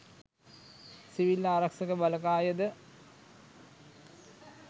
civil ආරක්ෂක බලකායද